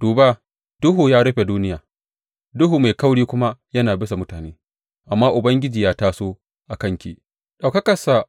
Duba, duhu ya rufe duniya duhu mai kauri kuma yana bisa mutane, amma Ubangiji ya taso a kanki ɗaukakarsa